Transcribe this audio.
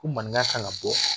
Ko maninka kan ka bɔ